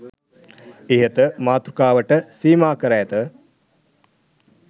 ඉහත මාතෘකාවට සීමා කර ඇත